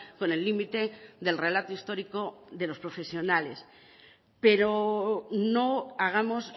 con el límite del relato histórico de los profesionales pero no hagamos